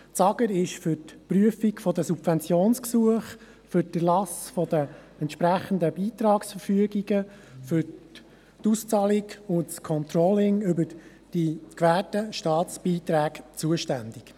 Das AGR ist für die Prüfung der Subventionsgesuche, für die Erlasse der entsprechenden Beitragsverfügungen, für die Auszahlung und das Controlling über die gewährten Staatsbeiträge zuständig.